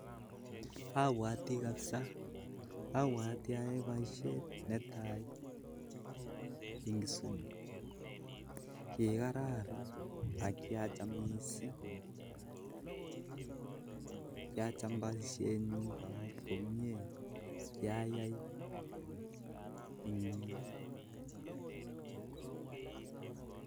Abwoti kabsaa abwoti ayoe boishet netai eng Kisumu, kikararan ak kyacham boisyenyu mising ak kyai komyeit